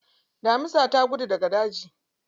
Damisa ta gudu daga daji.